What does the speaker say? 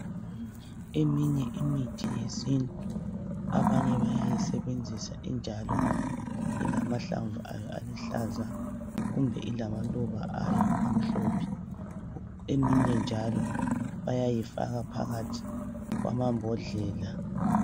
Eminye imithi yesintu abanye bayayisebenzisa injalo ilamahlamvu ayo aluhlaza kumbe ilamaluba ayo amhlophe eminye njalo bayayifaka phakathi kwamambodlela.